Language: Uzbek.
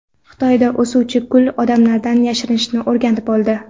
Xitoyda o‘suvchi gul odamlardan yashirinishni o‘rganib oldi.